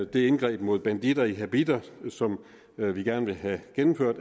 det indgreb mod banditter i habitter som vi gerne vil have gennemført